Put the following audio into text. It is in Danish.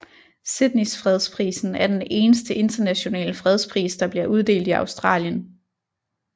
Sydneys fredsprisen er den eneste internationale fredspris der bliver uddelt i Australien